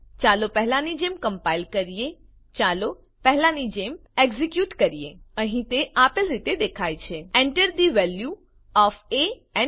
ચાલો પહેલાની જેમ કમ્પાઈલ કરીએચાલો પહેલાની જેમ એક્ઝેક્યુટ કરીએ અહીં તે આપેલ રીતે દેખાય છે Enter the value of A and B